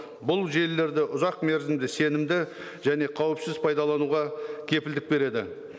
бұл желілерді ұзақ мерзімді сенімді және қауіпсіз пайдалануға кепілдік береді